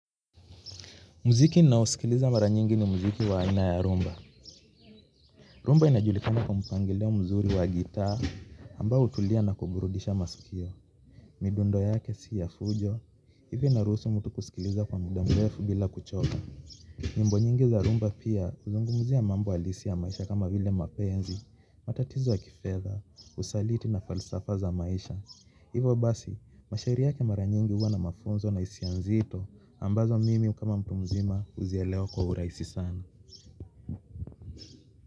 Muziki ninaosikiliza mara nyingi ni muziki wa aina ya rumba. Rumba inajulikana kwa mpangilio mzuri wa gitaa ambao hutulia na kuburudisha masikio. Midundo yake sio ya fujo, hivi inaruhusu mtu kusikiliza kwa muda mrefu bila kuchoka. Nyimbo nyingi za rumba pia huzungumzia mambo halisi ya maisha kama vile mapenzi, matatizo ya kifedha, usaliti na falsafa za maisha. Hivo basi, mashairi yake mara nyingi huwa na mafunzo na hisia nzito ambazo mimi kama mtu mzima huzielewa kwa urahisi sana.